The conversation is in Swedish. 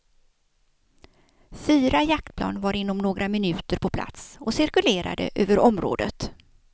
Fyra jaktflygplan var inom några minuter på plats och cirkulerade över området.